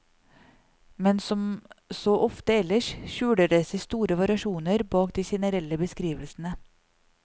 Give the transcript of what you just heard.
Men som så ofte ellers skjuler det seg store variasjoner bak de generelle beskrivelsene.